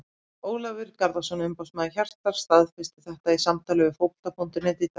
Ólafur Garðarsson, umboðsmaður Hjartar staðfesti þetta í samtali við Fótbolta.net í dag.